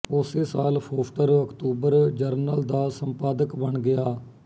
ਉਸੇ ਸਾਲ ਫੋਸਟਰ ਅਕਤੂਬਰ ਜਰਨਲ ਦਾ ਸੰਪਾਦਕ ਬਣ ਗਿਆ